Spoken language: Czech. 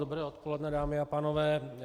Dobré odpoledne, dámy a pánové.